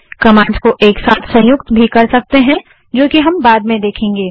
commands को एक साथ संयुक्त भी कर सकते हैं जो कि हम बाद में देखेंगे